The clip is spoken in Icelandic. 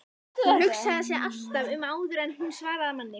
Hún hugsaði sig alltaf um áður en hún svaraði manni.